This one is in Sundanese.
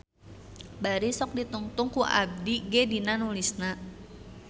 Bari sok ditungtun ku abdi ge dina nulisna.